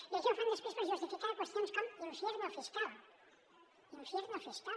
i això ho fan després per justificar qüestions com infierno fiscal cal